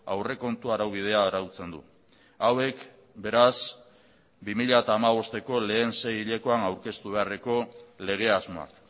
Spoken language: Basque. aurrekontu araubidea arautzen du hauek beraz bi mila hamabosteko lehen sei hilekoan aurkeztu beharreko lege asmoak